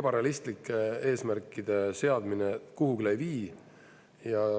ebarealistlike eesmärkide seadmine kuhugi ei vii.